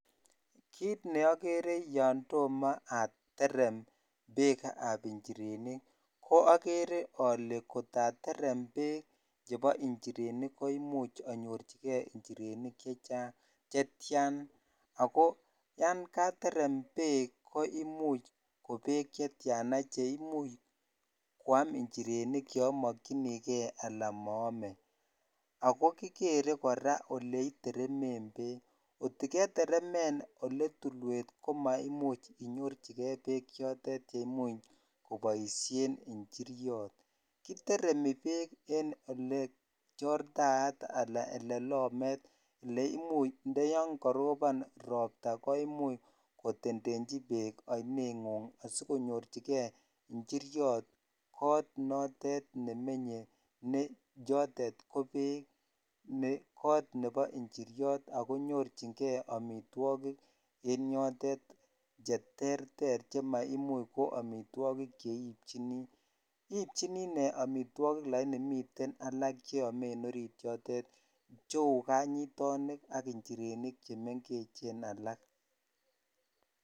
Kiit neokere yoon tomo aterem beekab njirenik ko okere olee kotaterem beek chebo njirenik koimuch anyorchike njirenik chetian ak ko yoon katerem beek ko imuch kobek chetian cheimuch koyam njirenik chomokyinike alaa moome ak ko kikere kora oleiteremen beek, kotiketeremen oletulwet ko maimuch inyorchike beek chotet cheimuch koboishen njiriot, kiteremi beek en olee chortaat alaa olelomet neimuch ndo yoon korobon robta koimuch kotendechi beek oineng'ung asikonyorchike njiriot koot notet nemenye ne yotet ko beek ne koot nebo njiriot ak ko nyorchinge amitwokik en yotet cheterter chemaimuch ko amitwokik cheibjini, ibjinii inee amitwokik lakini miten alak cheome en oriit yotet cheuu kanyitonik ak njirenik chemeng'echen alak.